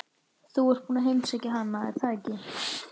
Þú ert búinn að heimsækja hana, er það ekki?